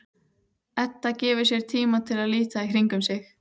Edda gefur sér tíma til að líta í kringum sig.